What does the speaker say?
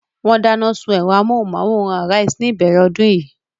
Wọ́n dáná sun ẹ̀rọ amóhùmáwòhán Arise ní ìbẹ̀rẹ̀ ọdún yìí.